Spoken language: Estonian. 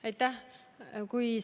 Aitäh!